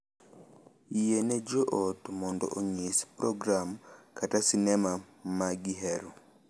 Yie ne jo ot mondo onyis program kata sinema ma gihero,